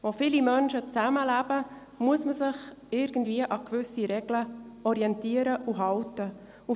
Wo viele Menschen zusammenleben, muss man sich an gewissen Regeln orientieren und sich an diese halten.